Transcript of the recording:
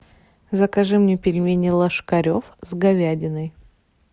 закажи мне пельмени ложкарев с говядиной